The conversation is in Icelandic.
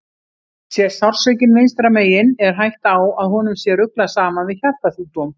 Sé sársaukinn vinstra megin er hætta á að honum sé ruglað saman við hjartasjúkdóm.